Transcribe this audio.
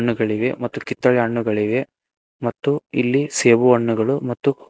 ಹೆಣ್ಣುಗಳಿವೆ ಮತ್ತು ಕಿತ್ತಳೆ ಹಣ್ಣುಗಳಿವೆ ಮತ್ತು ಇಲ್ಲಿ ಸೇಬು ಹಣ್ಣುಗಳು ಮತ್ತು--